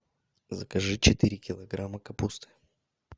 закажи четыре килограмма капусты